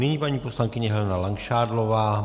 Nyní paní poslankyně Helena Langšádlová.